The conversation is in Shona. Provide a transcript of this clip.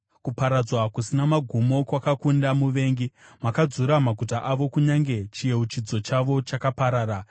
Kuparadzwa kusina magumo kwakakunda muvengi, makadzura maguta avo; kunyange chiyeuchidzo chavo chakaparara.